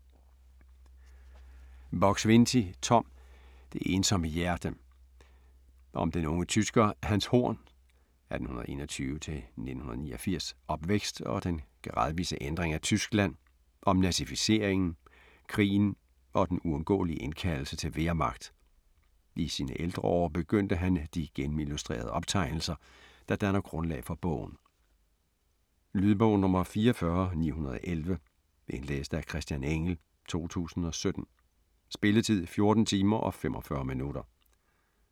Buk-Swienty, Tom: Det ensomme hjerte Om den unge tysker Hans Horns (1921-1989) opvækst og den gradvise ændring af Tyskland, om nazificeringen, krigen og den uundgåelige indkaldelse til Wehrmacht. I sine ældre år begyndte han de gennemillustrerede optegnelser, der danner grundlaget for bogen. Lydbog 44915 Indlæst af Christian Engell, 2017. Spilletid: 14 timer, 45 minutter.